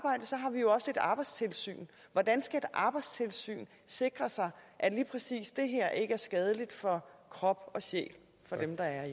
arbejdstilsynet hvordan skal arbejdstilsynet sikre sig at lige præcis det her ikke er skadeligt for krop og sjæl for dem der